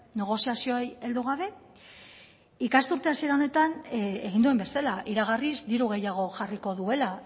negoziazioei heldu gabe ikasturte hasiera honetan egin duen bezala iragarriz diru gehiago jarriko duela